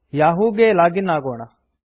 Yahoo ಗೆ log in ಆಗೋಣ